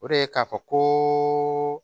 O de ye k'a fɔ ko